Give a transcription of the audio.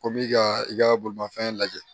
Ko bi ka i ka bolimafɛn lajɛ